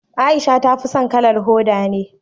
Aisha ta fi so kalar hoda ne